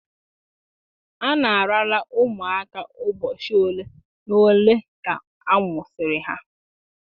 A na-arara ụmụaka ụbọchị ole na ole ka a mụsịrị ha